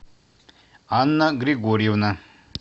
анна григорьевна